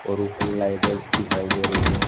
और लाइटें दिखाई दे रही हैं।